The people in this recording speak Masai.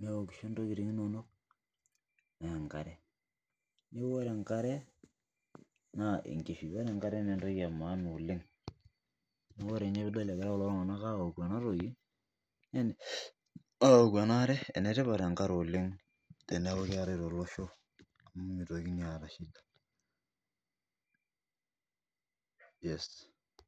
neokisho ntokitin inono naa enkare naa neeku ore enkare naa enkishui neeku oree enkare naa entoki maana oleng amu ore ninye peidol Egira kulo tunga'ana aoku ena are enetipat enkare oleng tenekuu keetae tolosho amu mitokini ata shida yes